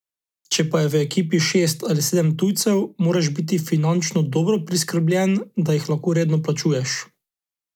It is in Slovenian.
Če pa je v ekipi šest ali sedem tujcev, moraš biti finančno dobro priskrbljen, da jih lahko redno plačuješ.